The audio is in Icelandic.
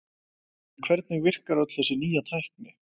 En hvernig virkar öll þessi nýja tækni?